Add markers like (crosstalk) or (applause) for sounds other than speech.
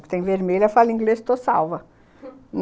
O que tem vermelho, eu falo inglês, estou salva (laughs)